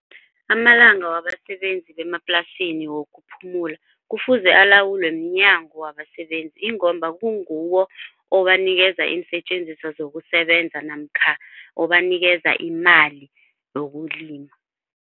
Amalanga wabasebenzi bemaplasini wokuphumula kufuze alawulwe mnyango wabasebenzi ingomba kunguwo obanikeza iinsetjenziswa zokusebenza namkha obanikeza imali yokulima.